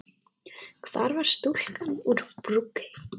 Hvar var stúlkan úr Brokey?